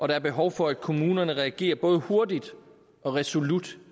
der er behov for at kommunerne reagerer både hurtigt og resolut